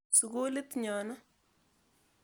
Sukulit nyo ni.